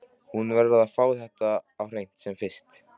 Hún verður að fá þetta á hreint sem fyrst.